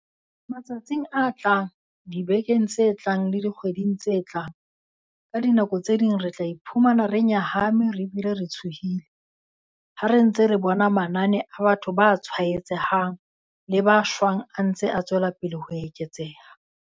Matsatsing a tlang, dibekeng tse tlang le dikgweding tse tlang, ka dinako tse ding re tla iphumana re nyahame re bile re tshohile ha re ntse re bona manane a batho ba tshwaetsehang le ba shwang a ntse a tswelapele ho eketseha.